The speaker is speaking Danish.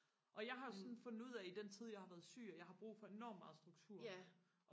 og jeg har jo sådan fundet ud af i den tid jeg har været syg at jeg har brug for enormt meget struktur